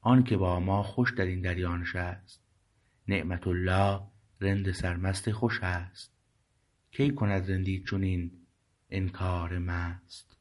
آنکه با ما خوش در این دریا نشست نعمت الله رند سرمست خوش است کی کند رندی چنین انکار مست